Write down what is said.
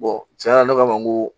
tiɲɛ na ne kama n ko